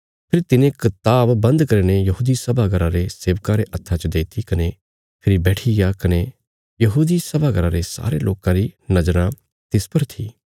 फेरी तिने कताब बन्द करीने यहूदी सभा घर रे सेवका रे हत्था च देईती कने फेरी बैठिग्या कने यहूदी सभा घर रे सारे लोकां री नज़राँ तिस पर थी